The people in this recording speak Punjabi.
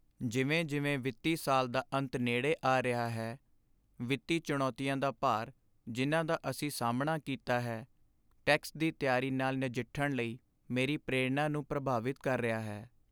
ਜਿਵੇਂ ਜਿਵੇਂ ਵਿੱਤੀ ਸਾਲ ਦਾ ਅੰਤ ਨੇੜੇ ਆ ਰਿਹਾ ਹੈ, ਵਿੱਤੀ ਚੁਣੌਤੀਆਂ ਦਾ ਭਾਰ ਜਿਨ੍ਹਾਂ ਦਾ ਅਸੀਂ ਸਾਹਮਣਾ ਕੀਤਾ ਹੈ, ਟੈਕਸ ਦੀ ਤਿਆਰੀ ਨਾਲ ਨਜਿੱਠਣ ਲਈ ਮੇਰੀ ਪ੍ਰੇਰਣਾ ਨੂੰ ਪ੍ਰਭਾਵਿਤ ਕਰ ਰਿਹਾ ਹੈ।